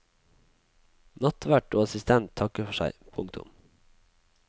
Nattvert og assistent takker for seg. punktum